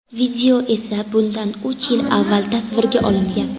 Video esa bundan uch yil avval tasvirga olingan.